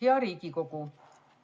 Hea Riigikogu!